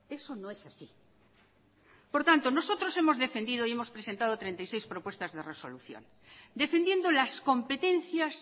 eso no es así por tanto nosotros hemos defendido y hemos presentado treinta y seis propuestas de resolución defendiendo las competencias